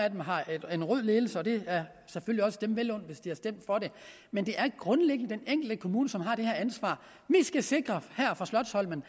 af dem har en rød ledelse og det er selvfølgelig også dem vel undt hvis indbyggerne har stemt for det men det er grundlæggende den enkelte kommune som har det her ansvar her fra slotsholmen